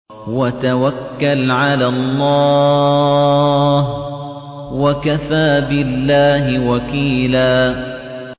وَتَوَكَّلْ عَلَى اللَّهِ ۚ وَكَفَىٰ بِاللَّهِ وَكِيلًا